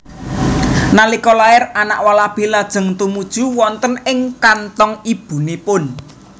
Nalika lair anak walabi lajeng tumuju wonten ing kanthong ibunipun